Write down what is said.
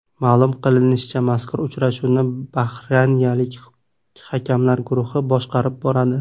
Ma’lum qilinishicha, mazkur uchrashuvni bahraynlik hakamlar guruhi boshqarib boradi.